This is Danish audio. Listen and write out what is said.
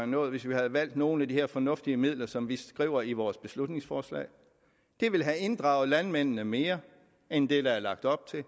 nået hvis man havde valgt at bruge nogle af de her fornuftige midler som vi skriver om i vores beslutningsforslag det ville have inddraget landmændene mere end det der er lagt op til